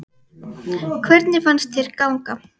Hvernig fannst þér ganga?